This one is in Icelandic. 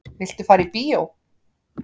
Viltu fara í bíó?